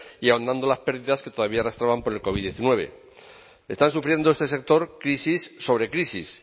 y ahondando las pérdidas que todavía arrastraban por el covid hemeretzi está sufriendo este sector crisis sobre crisis